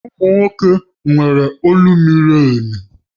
Ụmụ nwoke nwere olu miri emi